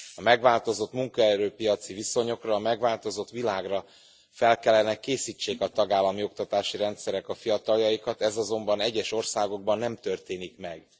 A megváltozott munkaerőpiaci viszonyokra, a megváltozott világra fel kellene készítsék a tagállami oktatási rendszerek a fiataljainkat, ez azonban egyes országokban nem történik meg.